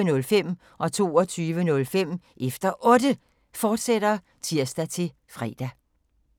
Otte, fortsat (tir-fre) 22:05: Efter Otte, fortsat (tir-fre)